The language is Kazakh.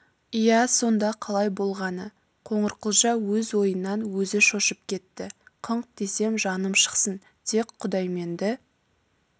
иә сонда қалай болғаны қоңырқұлжа өз ойынан өзі шошып кетті қыңқ десем жаным шықсын тек құдайменді